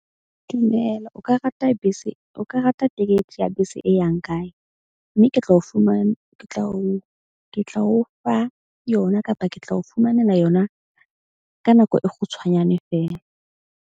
Dumela o ka rata bese. O ka rata ticket ya bese e yang kae mme ke tlo o fumana. ke tla o fa yona kapa ke tla o fumanela yona ka nako e kgutshwanyane feela.